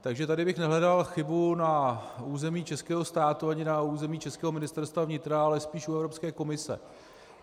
Takže tady bych nehledal chybu na území českého státu ani na území českého Ministerstva vnitra, ale spíš u Evropské komise.